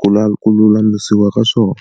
Ku la ku lulamisiwa ka swona